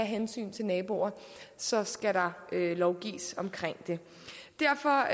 hensyn til naboerne så skal lovgives om det derfor